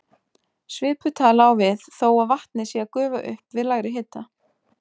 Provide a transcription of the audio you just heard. Svipuð tala á við þó að vatnið sé að gufa upp við lægri hita.